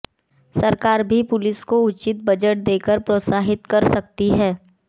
सरकार भी पुलिस बल को उचित बजट देकर प्रोत्साहित कर सकती है